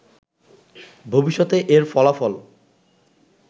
ভবিষ্যতে এর ফলাফল